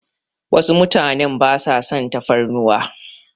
Wasu mutanen basa son tafarnuwa.